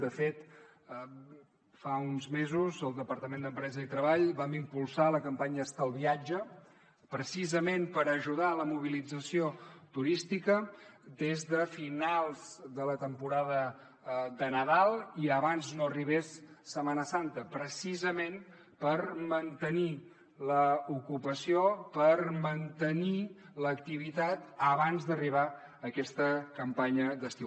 de fet fa uns mesos al departament d’empresa i treball vam impulsar la campanya estalviatge precisament per ajudar a la mobilització turística des de finals de la temporada de nadal i abans no arribés setmana santa precisament per mantenir l’ocupació per mantenir l’activitat abans d’arribar a aquesta campanya d’estiu